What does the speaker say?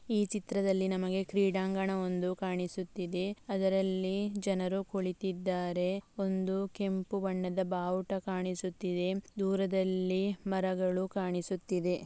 ಈ ಚಿತ್ರದಲ್ಲಿ ನಮಗೆ ಕ್ರೀಡಾಂಗಣ ಒಂದು ಕಾಣಿಸುತ್ತಿದೆ ಅದರಲ್ಲಿ ಜನರು ಕುಳಿತಿದ್ದಾರೆ ಒಂದು ಕೆಂಪು ಬಣ್ಣದ ಬಾವುಟ ಕಾಣಿಸುತ್ತಿದೆ ದೂರದಲ್ಲಿ ಮರಗಳು ಕಾಣಿಸುತ್ತಿದೆ .